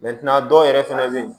a dɔw yɛrɛ fɛnɛ bɛ yen